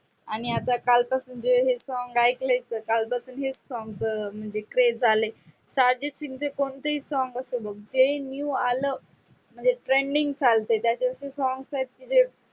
आणि आता कालपासून जे हे song ऐकलं कालपासून ते song म्हणजे craze झाले अर्जित सिंगचे कोणते ही song असो मंग ते new म्हणजे trending चालते. आलत त्या दिवशी song म्हणजे